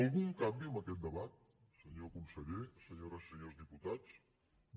algun canvi en aquest debat senyor conseller senyores i senyors diputats no